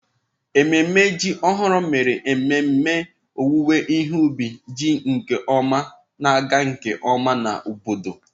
Ememe ji ọhụrụ mere mmemme owuwe ihe ubi ji nke ọma na-aga nke ọma na obodo.